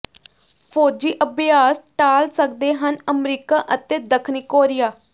ਫ਼ੌਜੀ ਅਭਿਆਸ ਟਾਲ ਸਕਦੇ ਹਨ ਅਮਰੀਕਾ ਅਤੇ ਦੱਖਣੀ ਕੋਰੀਆ